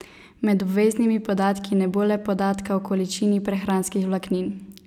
Med obveznimi podatki ne bo le podatka o količini prehranskih vlaknin.